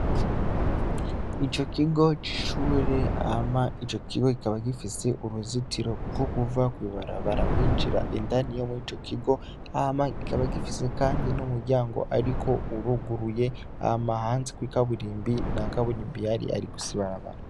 Ico kigo c'ishure hama ico kigo kikaba gifise uruzitiro rwokuva kwibarabara winjira indani yomurico kigo hama kikabagifise kandi n'umuryango ariko uruguruye hama hanze kwikaburimbi ntakaburimbi rihari hari gusa ibarabara.